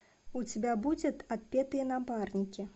у тебя будет отпетые напарники